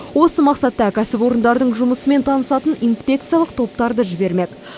осы мақсатта кәсіпорындардың жұмысымен танысатын инспекциялық топтарды жібермек